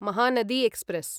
Mahanadi express